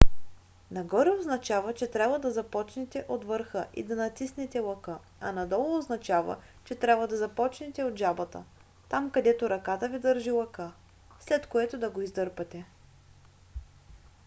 нагоре означава че трябва да започнете от върха и да натиснете лъка а надолу означава че трябва да започнете от жабата там където ръката ви държи лъка след което да го издърпате